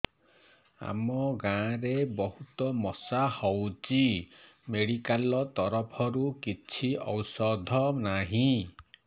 ଆମ ଗାଁ ରେ ବହୁତ ମଶା ହଉଚି ମେଡିକାଲ ତରଫରୁ କିଛି ଔଷଧ ନାହିଁ